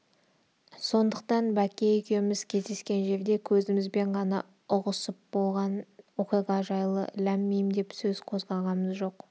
сондықтан бәкке екеуміз кездескен жерде көзімізбен ғана ұғысып болған оқиға жайлы ләм-мим деп сөз қозғағамыз жоқ